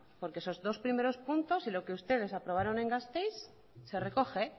porque esos dos primeros puntos y lo que ustedes aprobaron en gasteiz se recoge